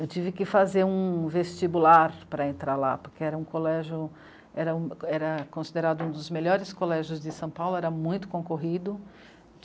Eu tive que fazer um vestibular para entrar lá, porque era um colégio... era um, era considerado um dos melhores colégios de São Paulo, era muito concorrido.